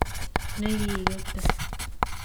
ne kigetei.